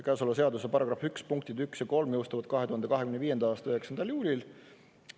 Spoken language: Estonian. Käesoleva seaduse § 1 punktid 1 ja 3 jõustuvad 2025. aasta 9. juulil.